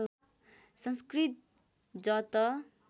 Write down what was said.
संस्कृत ज त